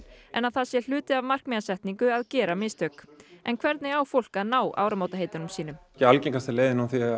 en að það sé hluti af markmiðasetningu að gera mistök en hvernig á fólk að ná áramótaheitunum sínum algengasta leiðin